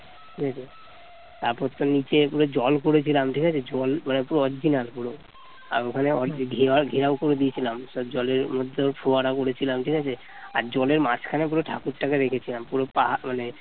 তারপর তো নিচে পুরো জল করেছিলাম ঠিক আছে জল করার original পুরো ওখানে ঘেরাও ঘেরাও করে দিয়েছিলাম জলের মধ্যে ফোয়ারা করেছিলাম ঠিক আছে আর জলের মাঝখানে পুরো ঠাকুরটাকে রেখেছিলাম। পুরোটা মানে